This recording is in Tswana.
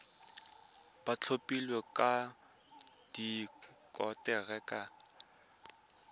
ba thapilweng ka konteraka ba